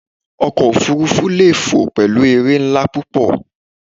Ọkọ̀ òfuurufú lè fò pẹ̀lú eré ńlá púpọ̀.